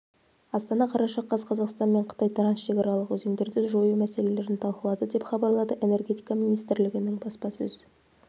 астана қараша қаз қазақстан мен қытай трансшекаралық өзендерде жою мәселелерін талқылады деп хабарлады энергетика министрлігінің баспасөз